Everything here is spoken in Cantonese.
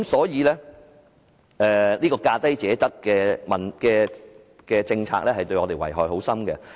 由此可見，價低者得的政策對香港的遺害深遠。